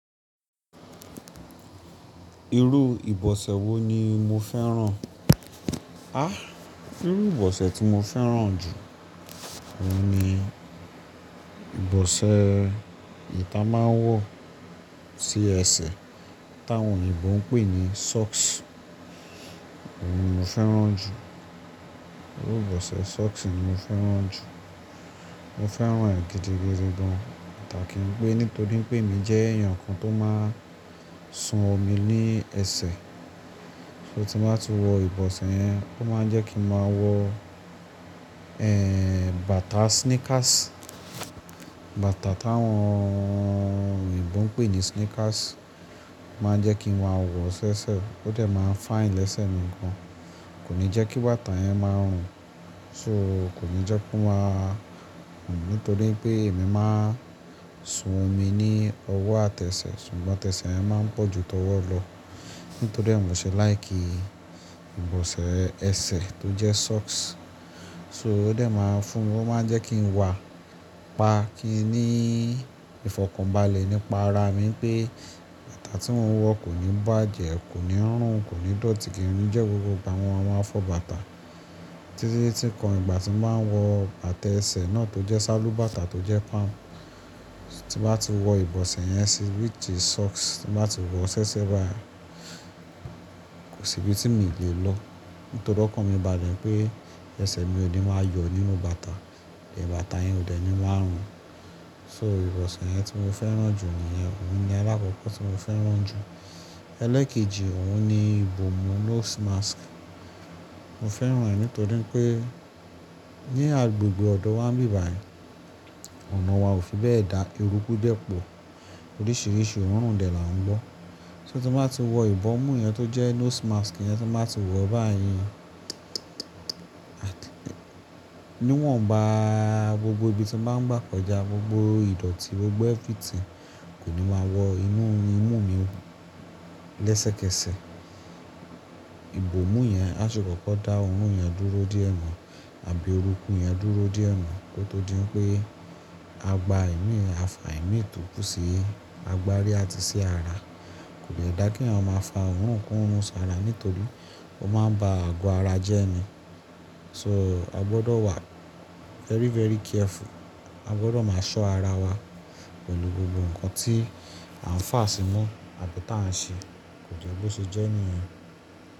Irú ìbọ̀sẹ̀ wo ni mo fẹ́ràn? Àh! Irú ìbọ̀sẹ̀ tí mo fẹ́ràn jù, òun ni ìbọ̀sẹ̀ yì ta máa ń wọ̀ sí ẹsẹ̀, táwọn òyìnbó ń pè ní socks. Òun ni mo fẹ́ràn jù. Irú ìbọ̀sẹ̀ socks ni mo fẹ́ràn jù. Mo fẹ́ràn rẹ̀ gidigidi gan-an an, tà kí n pé nítorí pé èmi jẹ́ èèyàn kan tó máa ń sun omi ní ẹsẹ̀. So tí máa ti wọ ìbọ̀sẹ̀ yẹn, ó máa ń jẹ́ kí n máa wọ, ẹ́ẹ́, bàtà sneakers. Bàtà táwọn òyìnbó ń pè ní sneakers máa ń jẹ́ kí n ma wọ́ ṣẹ́ṣẹ́, ó dẹ̀ máa ń fine lẹ́sẹ̀ mi gan. Kò ní jẹ́ kí bàtà yẹn máa rùn, so kò ní jẹ́ kó máa rùn nítorí pé èmi máa ń sun omi ní ọwọ́ àtẹsẹ̀, ṣùgbọ́n tẹsẹ̀ yẹn máa ń pọ̀ ju tọwọ́ lọ. Nítorí ẹ́ mò ṣe like ìbọ̀sẹ̀ ẹsẹ̀ tó jẹ́ socks, so ó dẹ̀ máa ń fún, ó máa ń jẹ́ kí n wà pa kí i ní ìfọ̀kànbalẹ̀ nípa ara mi pé bàtà tí mò ń wọ kò ní bàjẹ́, kò ní rùn, kò ní dọ̀tí kí n ri. Ǹjẹ́ gbogbo ìgbà wọn a máa fọ̀ bàtà. Títí tí kàn ìgbà tí máa wọ bàtà ẹsẹ̀ náà tó jẹ́ sálú bàtà tó jẹ́ palm. Tí máa ti wọ ìbọ̀sẹ̀ yẹn sí which is socks, tí máa ti wọ ṣẹ́ṣẹ́ báyìí, kò síbi tí mi lè lọ. Nítorí ọkàn mi bà lẹ̀ pé ẹsẹ̀ mi ò ní máa yọ nínú bàtà, è bàtà yẹn ò dẹ̀ ní máa rùn. So ìbọ̀sẹ̀ yẹn tí mo fẹ́ràn jù nìyẹn, òun ni alákọ̀ọ́kọ́ tí mo fẹ́ràn jù. Ẹlẹ́ẹ̀kejì, òun ni ìbòmú nose mask. Mo fẹ́ràn rẹ̀ nítorí pé ní agbègbè ọ̀dọ̀ wa níbàyìí, ọ̀nà wa ò fi bẹ́ẹ̀ dá, eruku dẹ́ pọ̀. Oríṣìíríṣìí òórùn dẹ̀ là ń gbọ́. So tí máa ti wọ ìbòmú yẹn tó jẹ́ nose mask yẹn tí máa ti wọ̀ báyìí, níwọ̀n ba gbogbo ibi tí máa ń gbà kọjá, gbogbo ìdọ̀tí, gbogbo everything kò ní máa wọ inú imú mi lẹ́sẹ̀kẹsẹ̀. Ìbòmú yẹn á ṣe kókó dá òórùn yẹn dúró díẹ̀ na àbí eruku yẹn dúró díẹ̀ na kó tó di wípé a gbá ìmí, a fà ìmí tó kú sí agbárí àti sí ara. Kò dè dá kí àwọn máa fà òórùn korun sára nítorí ó máa ń ba àgọ́ ara jẹ́ ẹni. So a gbọdọ̀ wà very, very careful. A gbọdọ̀ máa ṣọ́ ara wa pẹ̀lú gbogbo nǹkan tí à ń fà sí mu àbí tí à ń ṣe. Kò jẹ́ bó ṣe jẹ́ ènìyàn.